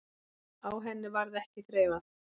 Á henni varð ekki þreifað.